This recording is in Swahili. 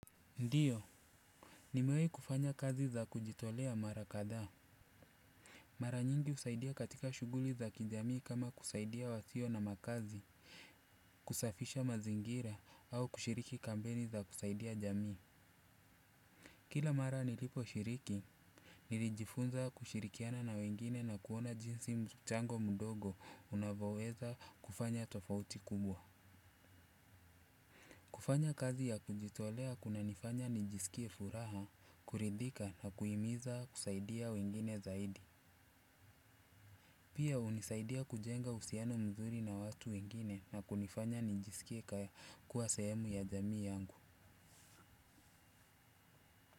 Ndiyo. Nimewahi kufanya kazi za kujitolea mara kadhaa. Mara nyingi husaidia katika shughuli za kijami kama kusaidia wasio na makazi, kusafisha mazingira au kushiriki kampeni za kusaidia jamii. Kila mara niliposhiriki, nilijifunza kushirikiana na wengine na kuona jinsi mchango mdogo unavoweza kufanya tofauti kubwa. Kufanya kazi ya kujitolea kunanifanya nijisikie furaha, kuridhika na kuimiza kusaidia wengine zaidi. Pia hunisaidia kujenga uhusiano mzuri na watu wengine na kunifanya nijisikie kuwa sehemu ya jamii yangu.